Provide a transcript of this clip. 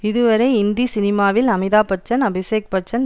இதுவரை இந்தி சினிமாவில் அமிதாப்பச்சன்அபிஷேக்பச்சன்